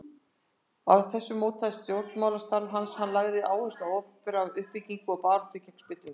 Af þessu mótaðist stjórnmálastarf hans, hann lagði áherslu á opinbera uppbyggingu og baráttu gegn spillingu.